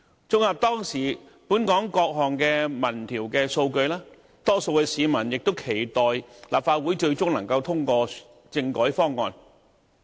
綜合當時本港各項民調數據，大多數市民亦期待立法會最終能通過政改方案。